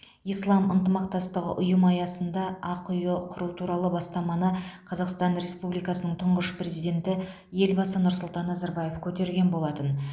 ислам ынтымақтастығы ұйымы аясында ақиұ құру туралы бастаманы қазақстан республикасының тұңғыш президенті елбасы нұрсұлтан назарбаев көтерген болатын